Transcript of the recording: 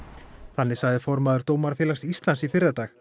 þannig sagði formaður Dómarafélags Íslands í fyrradag